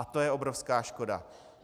A to je obrovská škoda.